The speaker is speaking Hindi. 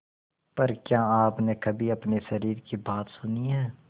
पर क्या आपने कभी अपने शरीर की बात सुनी है